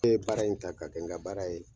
Ne ye baara in ta ka kɛ n ka baara ye.